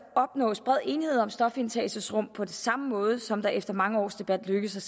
opnås bred enighed om stofindtagelsesrum på samme måde som det efter mange års debat lykkedes at